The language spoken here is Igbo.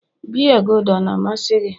biya gulder ọ na-amasị gị?